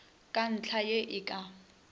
ke ntlha ye e ka